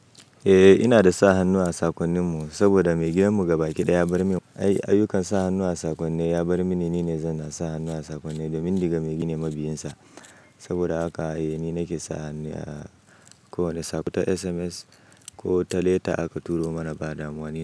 Eh, ina da sa hannu a sakonninmu saboda mai gidan mu gaba kiɗaya ya bar min ayyukan sa hannu a sakonni. Ya bar mini, ni ne zanna sa hannu a sakonni da min glda maigini mabiyinsa. Saboda haka ni nake sa hannu a kowane sakonta, SMS ko ta leta aka turo mana ba damuwa nima.